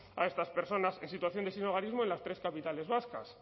a estas personas en situación de sinhogarismo en las tres capitales vascas